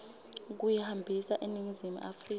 kuyihambisa eningizimu afrika